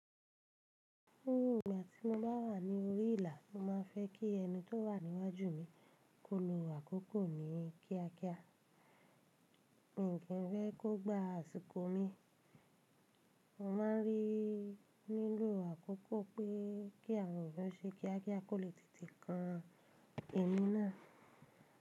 Ní ìgbà tí mo bá wà ní orí ìlà, mo má a fẹ́ kí ẹni tó wà níwájú mi kó lo àkókò mi kíákíá, mi kì í fẹ́ kó gbá àsìkò mi. Mo má a ń rí nílò àkókò pé kí àwọn òṣìṣẹ́ kíákíá kò lè tètè kan èmi náà.